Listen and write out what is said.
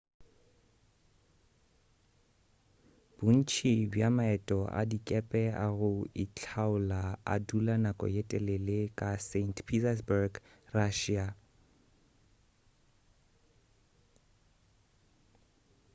bontši bja maeto a dikepe a go itlhaola a dula nako ye telele ka st petersburg russia